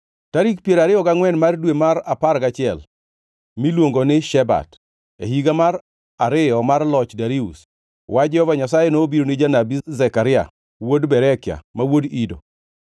Tarik piero ariyo gangʼwen mar dwe mar apar gachiel, miluongo ni Shebat, e higa mar ariyo mar loch Darius, wach Jehova Nyasaye nobiro ni janabi Zekaria wuod Berekia, ma wuod Ido.